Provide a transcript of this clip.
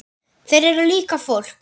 Þeir eru líka fólk.